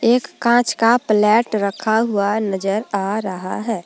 एक काँच का प्लेट रखा हुआ नजर आ रहा है।